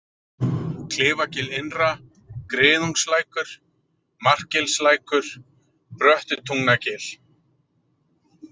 Klifagil innra, Griðungslækur, Markgilslækur, Bröttutungnagil